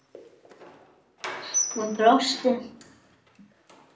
Hún brosti.